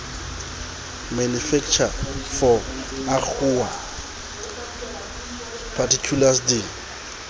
manufacturer for agoa particulars di